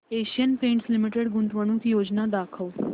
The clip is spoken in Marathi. एशियन पेंट्स लिमिटेड गुंतवणूक योजना दाखव